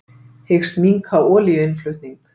Hyggst minnka olíuinnflutning